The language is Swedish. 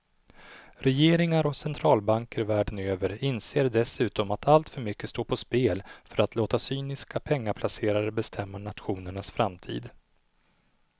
Regeringar och centralbanker världen över inser dessutom att alltför mycket står på spel för att låta cyniska pengaplacerare bestämma nationernas framtid.